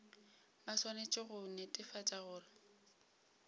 ba swanetše go netefatša gore